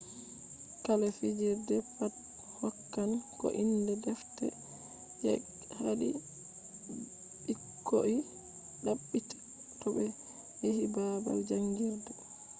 kala fijirde pat hokkan ko inde defte je haadi ɓikkoi ɗabbita to ɓe yehi babal jangirde